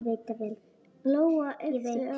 Lóa yppti öxlum.